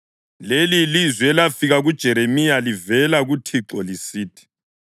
Leli yilizwi elafika kuJeremiya livela kuThixo lisithi: